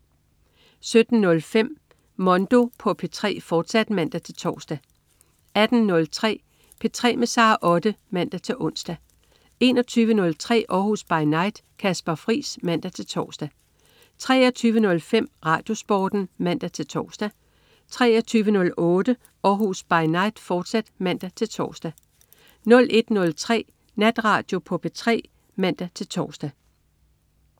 17.05 Mondo på P3, fortsat (man-tors) 18.03 P3 med Sara Otte (man-ons) 21.03 Århus By Night. Kasper Friis (man-tors) 23.05 RadioSporten (man-tors) 23.08 Århus By Night, fortsat (man-tors) 01.03 Natradio på P3 (man-tors)